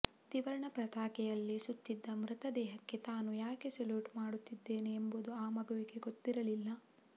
ತ್ರಿವರ್ಣ ಪತಾಕೆಯಲ್ಲಿ ಸುತ್ತಿದ್ದ ಮೃತದೇಹಕ್ಕೆ ತಾನು ಯಾಕೆ ಸಲ್ಯೂಟ್ ಮಾಡುತ್ತಿದ್ದೇನೆ ಎಂಬುದು ಆ ಮಗುವಿಗೆ ಗೊತ್ತಿರಲಿಲ್ಲ